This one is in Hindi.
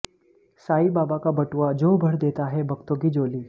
साईं बाबा का बटुआ जो भर देता है भक्तों की झोली